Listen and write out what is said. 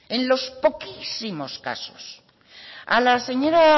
en los poquísimos casos a la señora